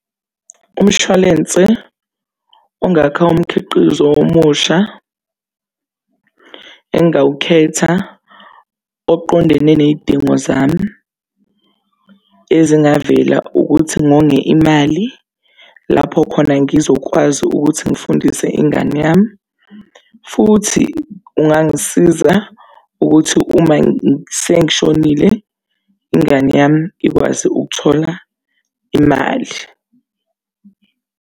Umshwalense ongakha umkhiqizo omusha engawukhetha oqondene ney'dingo zami ezingavela. Ukuthi ngonge imali lapho khona ngizokwazi ukuthi ngifundise ingane yami futhi ungangisiza ukuthi uma sengishonile, ingane yami ikwazi ukuthola imali.